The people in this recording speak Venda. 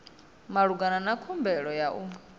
malugana na khumbelo ya u